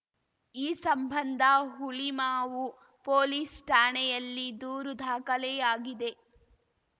ಈ ಸಂಬಂಧ ಹುಳಿಮಾವು ಪೊಲೀಸ್‌ ಠಾಣೆಯಲ್ಲಿ ದೂರು ದಾಖಲೆಯಾಗಿದೆ